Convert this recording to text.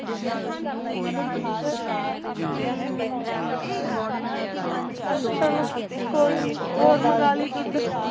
ਹਮ ਚਲੋ ਕੋਈ ਨੀ ਹੋਰ ਮੰਗਾ ਲਈ ਦੁੱਧ